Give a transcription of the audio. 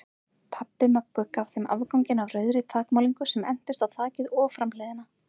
Pabbi Möggu gaf þeim afganginn af rauðri þakmálningu sem entist á þakið og framhliðina.